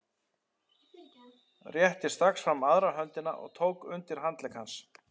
Rétti strax fram aðra höndina og tók undir handlegg hans.